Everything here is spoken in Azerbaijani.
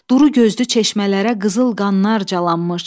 Duru gözlü çeşmələrə qızıl qanlar calanmış.